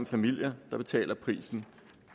familier der betaler prisen